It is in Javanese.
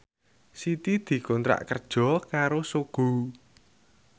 Siti dikontrak kerja karo Sogo